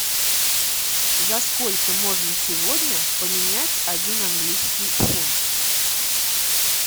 за сколько можно сегодня поменять один английский фунт